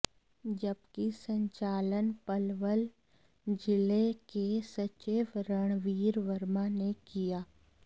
जबकि संचालन पलवल जिले के सचिव रणवीर वर्मा ने किया